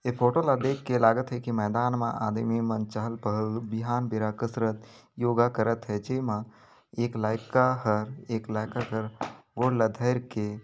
ऐ photo ला देखके लागत है की मैदान मा आदमी मन चहल-पहल बिहान बेरा कसरत योगा करत हे जेमा एक लायका हर एक लायका कर गोड़ ल धर के --